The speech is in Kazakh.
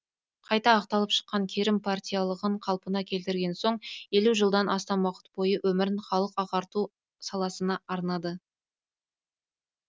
қайта ақталып шыққан керім партиялығын қалпына келтірген соң елу жылдан астам уақыт бойы өмірін халық ағарту саласына арнады